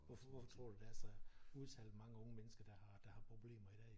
Hvorfor tror du der er så udtalt mange unge mennesker der har der har problemer i dag?